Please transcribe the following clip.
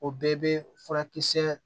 O bɛɛ bɛ furakisɛ